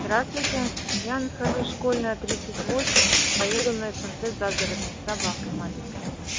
здравствуйте я нахожусь школьная тридцать восемь поеду на снт загородный с собакой маленькой